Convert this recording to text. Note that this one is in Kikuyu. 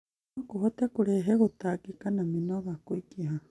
No kũhote kũrehe gũtangĩka na mĩnoga kũingĩha